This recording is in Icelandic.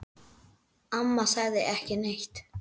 Amma sagði ekki neitt.